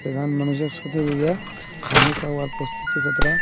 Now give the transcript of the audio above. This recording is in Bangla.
সাধারণ মানুষের সাথে বইয়া খানি খাবার প্রস্তুতি কতটা--